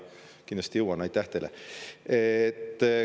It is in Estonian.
Kindlasti jõuan, aitäh teile.